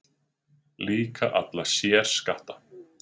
Líka alla sérskatta